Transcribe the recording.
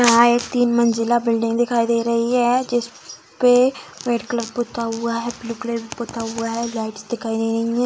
यहाँ एक तीन मंजिला बिल्डिंग दिखाई दे रही है जिसपे रेड कलर पुता हुआ है ब्लू कलर भी पुता हुआ है लाइटस दिखाई दे रही है ।